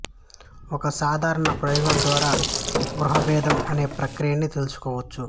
ఒక సాధారణ ప్రయోగం ద్వారా గ్రహ భేదం అనే ప్రక్రియ ని తెలుసుకోవచ్చు